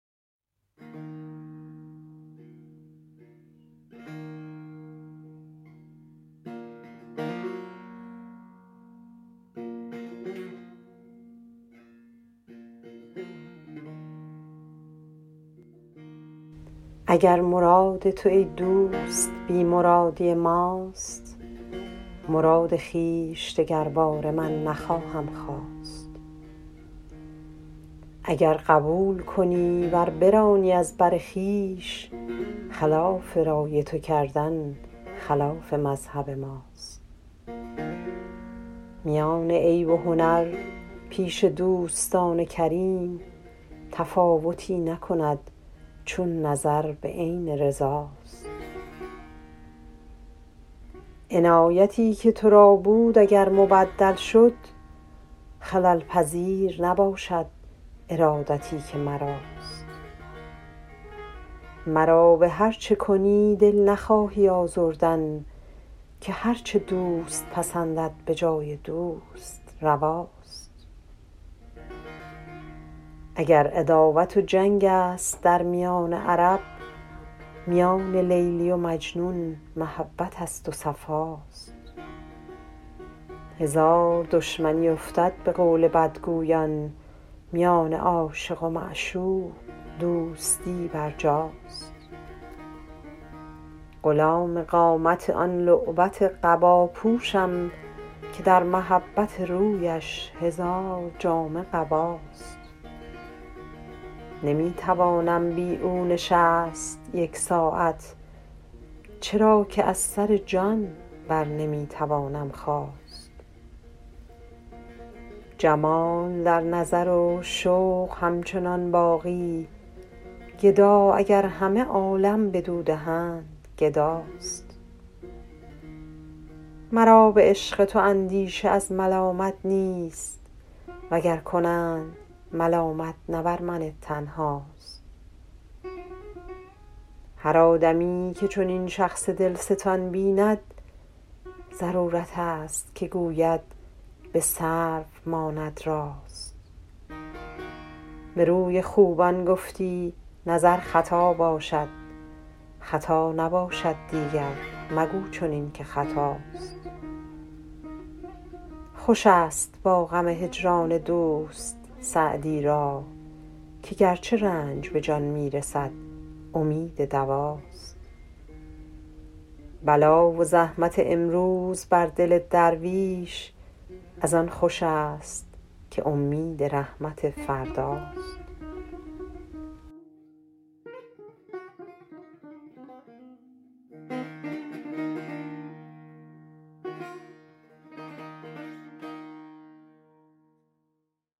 اگر مراد تو ای دوست بی مرادی ماست مراد خویش دگرباره من نخواهم خواست اگر قبول کنی ور برانی از بر خویش خلاف رای تو کردن خلاف مذهب ماست میان عیب و هنر پیش دوستان کریم تفاوتی نکند چون نظر به عین رضا ست عنایتی که تو را بود اگر مبدل شد خلل پذیر نباشد ارادتی که مراست مرا به هر چه کنی دل نخواهی آزردن که هر چه دوست پسندد به جای دوست روا ست اگر عداوت و جنگ است در میان عرب میان لیلی و مجنون محبت است و صفا ست هزار دشمنی افتد به قول بدگویان میان عاشق و معشوق دوستی برجاست غلام قامت آن لعبت قبا پوشم که در محبت رویش هزار جامه قباست نمی توانم بی او نشست یک ساعت چرا که از سر جان بر نمی توانم خاست جمال در نظر و شوق همچنان باقی گدا اگر همه عالم بدو دهند گدا ست مرا به عشق تو اندیشه از ملامت نیست و گر کنند ملامت نه بر من تنها ست هر آدمی که چنین شخص دل ستان بیند ضرورت است که گوید به سرو ماند راست به روی خوبان گفتی نظر خطا باشد خطا نباشد دیگر مگو چنین که خطاست خوش است با غم هجران دوست سعدی را که گرچه رنج به جان می رسد امید دوا ست بلا و زحمت امروز بر دل درویش از آن خوش است که امید رحمت فردا ست